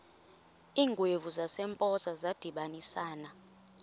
iingwevu zasempoza zadibanisana